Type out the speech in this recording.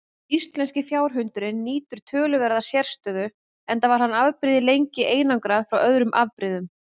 Íslenski fjárhundurinn nýtur töluverðar sérstöðu enda var afbrigðið lengi einangrað frá öðrum afbrigðum.